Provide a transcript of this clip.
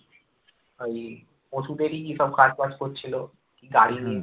ওই ওষুধের কি সব কাজবাজ করছিল গাড়ি নিয়ে